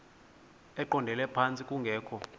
eqondele phantsi kungekho